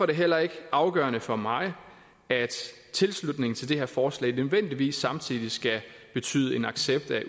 det heller ikke afgørende for mig at tilslutningen til det her forslag nødvendigvis samtidig skal betyde en accept af